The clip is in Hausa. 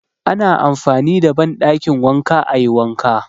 Ana amfani da banɗakin wanka ayi wanka